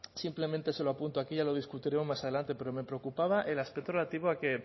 simplemente se lo apunto aquí ya lo discutiremos más adelante pero me preocupaba el aspecto relativo a que